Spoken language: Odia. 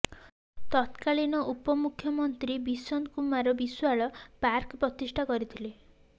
ତତ୍କାଳୀନ ଉପମୁଖ୍ୟମନ୍ତ୍ରୀ ବିସନ୍ତ କୁମାର ବିଶ୍ୱାଳ ପାର୍କ ପ୍ରତିଷ୍ଠା କରିଥିଲେ